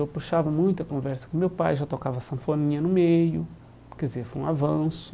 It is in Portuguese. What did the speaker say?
Eu puxava muita conversa com o meu pai, já tocava sanfoninha no meio, quer dizer, foi um avanço.